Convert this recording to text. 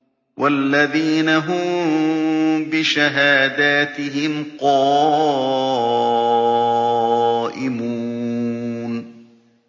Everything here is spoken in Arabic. وَالَّذِينَ هُم بِشَهَادَاتِهِمْ قَائِمُونَ